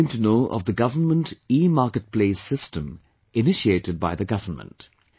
Then she came to know of the 'Government EMarketplace' system initiated by the government